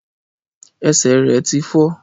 Ẹsẹ̀ rẹ̀ tí fọ́.